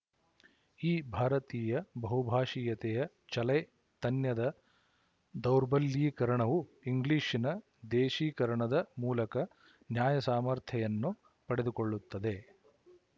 ಈ ಭಾರತೀಯ ಬಹುಭಾಶೀಯತೆಯ ಚಲೈ ತನ್ಯದ ದೌರ್ಬಲ್ಯೀಕರಣವು ಇಂಗ್ಲಿಶಿನ ದೇಸೀಕರಣದ ಮೂಲಕ ನ್ಯಾಯ ಸಾಮರ್ಥೆಯನ್ನು ಪಡೆದುಕೊಳ್ಳುತ್ತದೆ